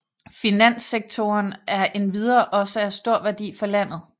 Finanssektoren er endvidere også af stor værdi for landet